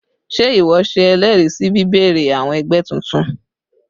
Sé ìwo se elèèrí sí bíbèrè àwon egbé titun?